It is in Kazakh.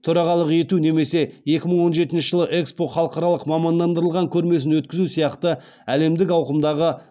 төрағалық ету немесе екі мың он жетінші жылы экспо халықаралық мамандандырылған көрмесін өткізу сияқты әлемдік ауқымдағы